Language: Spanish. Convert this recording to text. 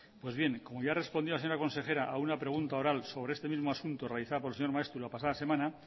pues bien como ya respondió la señora consejera a una pregunta oral sobre este mismo asunto realizada por el señor maeztu la pasada semana